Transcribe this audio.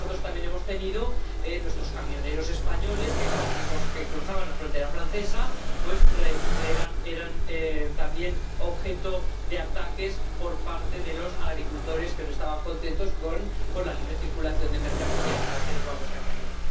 Pero nosotros también hemos tenido el caso de los camioneros españoles, que cada vez que cruzaban la frontera francesa eran también objeto de ataques por parte de los agricultores que no estaban contentos con la libre circulación de mercancías —para que nos vamos a engañar—.